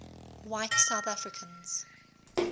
white south africans